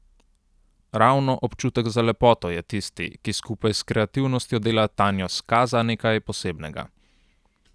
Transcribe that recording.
Ravno občutek za lepoto je tisti, ki skupaj s kreativnostjo dela Tanjo Skaza nekaj posebnega.